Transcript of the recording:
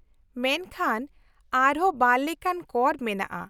-ᱢᱮᱱᱠᱷᱟᱱ ᱟᱨ ᱦᱚᱸ ᱵᱟᱨ ᱞᱮᱠᱟᱱ ᱠᱚᱨ ᱢᱮᱱᱟᱜᱼᱟ